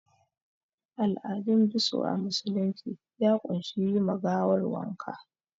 Al'adun biso a musulunci ya ƙunshi yi ma gawar wanka